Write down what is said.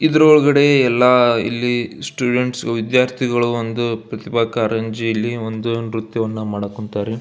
ಇದರ ಒಳಗಡೆ ಎಲ್ಲ ಇಲ್ಲಿ ಸ್ಟೂಡೆಂಟ್ಸ್ ವಿದ್ಯಾರ್ಥಿಗಳು ಒಂದು ಪ್ರತಿಭಾ ಕಾರಂಜಿಯಲ್ಲಿ ಒಂದು ನ್ರತ್ಯವನ್ನು ಮಾಡೋಕ್ ಹೊಂಟರೆ.